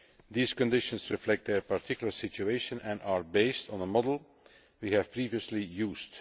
These conditions reflect their particular situation and are based on a model we have previously used.